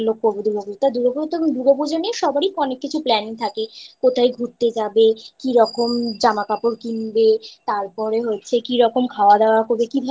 খুব ইচ্ছা যে এই গুলো করবো দুর্গাপুজোতে। তা দুর্গাপুজো তো দুর্গাপুজো নিয়ে সবারই আনেক কিছু plan থাকে, কোথায় ঘুরতে যাবে? কি রকম জামা কাপড় কিনবে? তারপরে হচ্ছে কি রকম